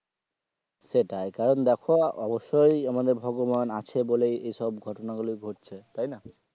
সেটাই কারণ দেখো অবশ্যই আমাদের ভগবান আছে বলে এসব ঘটনাগুলো ঘটছে তাই না.